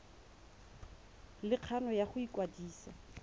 le kgano ya go ikwadisa